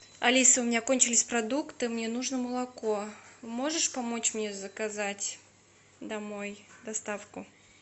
алиса у меня кончились продукты мне нужно молоко можешь помочь мне заказать домой доставку